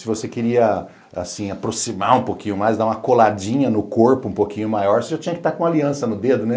Se você queria, assim, aproximar um pouquinho mais, dar uma coladinha no corpo um pouquinho maior, você já tinha que estar com aliança no dedo, né?